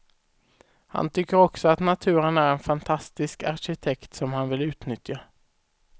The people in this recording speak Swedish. Han tycker också att naturen är en fantastisk arkitekt som han vill utnyttja.